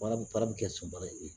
Fara fara bi kɛ sunbala ye